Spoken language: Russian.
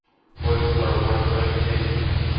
восемьсот сорок восемь алексеевка